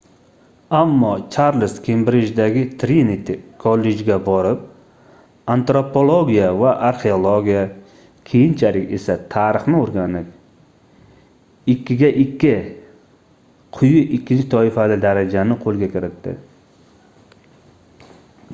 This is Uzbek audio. ammo charlz kembrijdagi triniti kollejga borib antropologiya va arxeologiya keyinchalik esa tarixni o'rganib 2:2 quyi ikkinchi toifali daraja ni qo'lga kiritdi